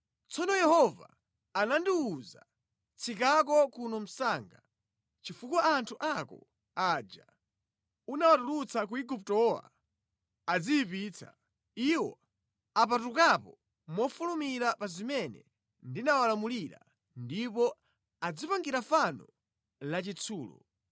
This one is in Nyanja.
Tsono Yehova anandiwuza, “Tsikako kuno msanga, chifukwa anthu ako aja unawatulutsa ku Iguptowa adziyipitsa. Iwo apatukapo mofulumira pa zimene ndinawalamulira ndipo adzipangira fano lachitsulo.”